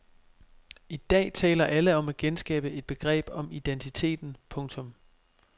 I dag taler alle om at genskabe et begreb om identiteten. punktum